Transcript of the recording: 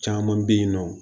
Caman bɛ yen nɔ